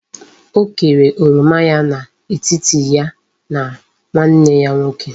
O kere oroma ya na etiti ya na nwanne ya nwoke